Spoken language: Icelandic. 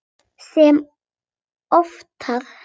Sem oftar.